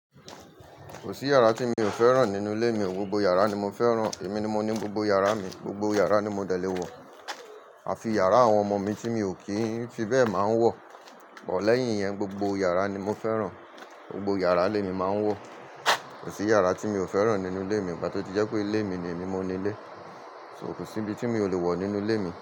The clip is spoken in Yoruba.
Kò sí yàrá tí mi ò fẹ́ràn nínú ilé mi, gbogbo yàrá ni mo fẹ́ràn, èmi ni mo ni gbogbo yàrá mi, gbogbo yàrá ni mo de lé wọ̀. Àfi yàrá àwọn ọmọ mi tí mi ò kí ń fi bẹ́ẹ̀ máa ń wọ̀. Bọ̀ lẹ́yìn yẹn, gbogbo yàrá ni mo fẹ́ràn. Gbogbo yàrá ni émi máa ń wọ̀. Kò sí yàrá tí mi ò fẹ́ràn nínú ilé mi, bá tí ó ti jẹ́ pé ilé mi ni èmi mo ni ilé. So kò sí ibi tí mi ò lè wọ̀ nínú ilé mi.